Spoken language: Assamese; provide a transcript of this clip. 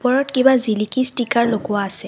ওপৰত কিবা জিলিকি ষ্টিকাৰ লগোৱা আছে।